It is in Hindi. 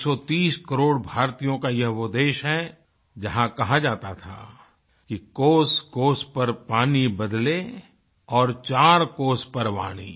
130 करोड़ भारतीयों का ये वो देश है जहाँ कहा जाता था कि कोसकोस पर पानी बदले और चार कोस पर वाणी